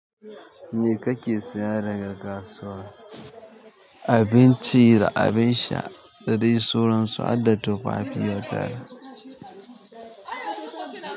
Me kake saya daga kasuwa? Abinci da abin sha, dadai suran su hadda tufafi ya tara.